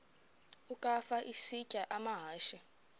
ukafa isitya amahashe